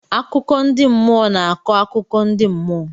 Akụkọ ndị mmụọ na-akọ akụkọ ndị mmụọ.